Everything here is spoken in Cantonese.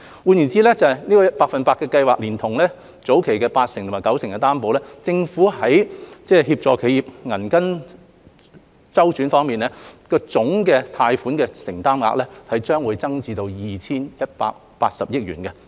換言之，百分百特惠低息貸款連同計劃下八成及九成擔保，政府在協助企業銀根周轉方面的貸款總承擔額將增加至 2,180 億元。